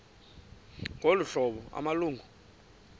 ngolu hlobo amalungu